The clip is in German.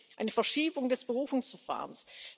Wir sehen eine Verschiebung des Berufungsverfahrens.